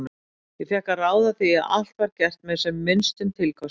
Ég fékk að ráða því að allt var gert með sem minnstum tilkostnaði.